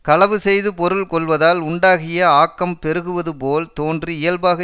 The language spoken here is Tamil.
களவு செய்து பொருள் கொள்வதால் உண்டாகிய ஆக்கம் பெருகுவது போல் தோன்றி இயல்பாக